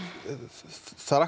það er